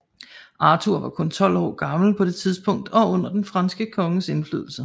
Arthur var kun tolv år gammel på det tidspunkt og under den franske konges indflydelse